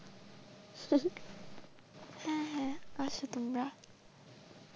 আসো তোমরা।